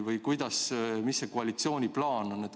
Või mis koalitsiooni plaan on?